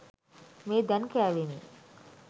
මේ දැන් කෑවෙමි.